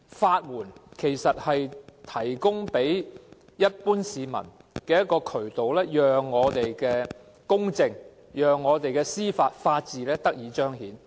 法援其實是提供予一般市民的渠道，讓司法公正和法治得以彰顯。